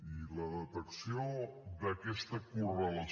i la detecció d’aquesta correlació